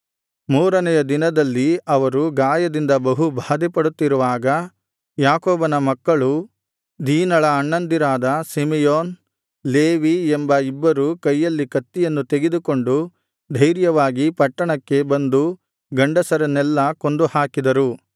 ಮೂರನೆಯ ದಿನದಲ್ಲಿ ಅವರು ಗಾಯದಿಂದ ಬಹು ಬಾಧೆಪಡುತ್ತಿರುವಾಗ ಯಾಕೋಬನ ಮಕ್ಕಳೂ ದೀನಳ ಅಣ್ಣಂದಿರಾದ ಸಿಮೆಯೋನ್ ಲೇವಿ ಎಂಬ ಇಬ್ಬರು ಕೈಯಲ್ಲಿ ಕತ್ತಿಯನ್ನು ತೆಗೆದುಕೊಂಡು ಧೈರ್ಯವಾಗಿ ಪಟ್ಟಣಕ್ಕೆ ಬಂದು ಗಂಡಸರನ್ನೆಲ್ಲಾ ಕೊಂದು ಹಾಕಿದನು